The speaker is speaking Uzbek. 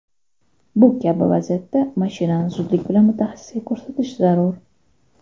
Bu kabi vaziyatda mashinani zudlik bilan mutaxassisga ko‘rsatish zarur.